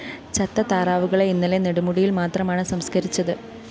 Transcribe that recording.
ചത്ത താറാവുകളെ ഇന്നലെ നെടുമുടിയില്‍ മാത്രമാണ് സംസ്‌കരിച്ചത്